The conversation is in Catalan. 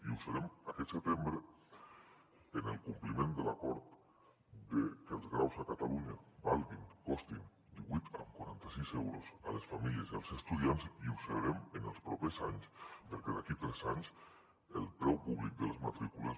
i ho serem aquest setembre en el compliment de l’acord que els graus a catalunya valguin costin divuit coma quaranta sis euros a les famílies i als estudiants i ho serem en els propers anys perquè d’aquí a tres anys el preu públic de les matrícules